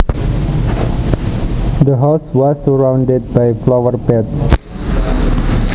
The house was surrounded by flower beds